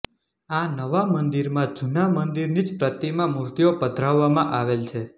આ નવા મંદીરમાં જુના મંદીરની જ પ્રતિમા મુર્તિઓ પધરાવવામાં આવેલ છે